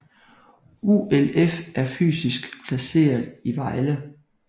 ULF er fysisk placeret i Vejle